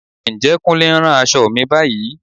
Ǹjẹ́ Kúnlé ń rán aṣọ mi báyìí?